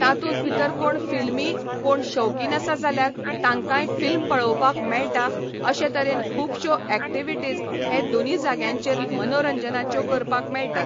तातूंत भितर कोण फिल्मी कोण शौकीन आसा जाल्यार तांकांय फिल्म पळोवपाक मेळटा अशें तरेन खूबश्यो एकटीविटीज हे दोनी जाग्यांचेर मनोरंजानाच्यो करपाक मेळटात.